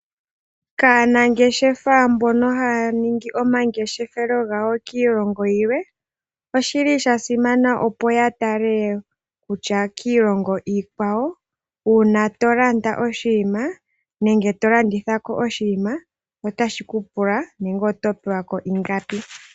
Kaanangeshefa mbono haya ningi omangeshefelo gawo kiilongo yilwe, oshili shasimana opo yatale kutya kiilongo iikwawo uuna tolanda oshinima nenge to landithako oshinima otashi ku pula nenge oto pewa ko ingapi .